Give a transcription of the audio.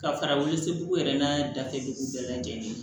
Ka fara wolosigiw yɛrɛ n'a datugu bɛɛ lajɛlen ye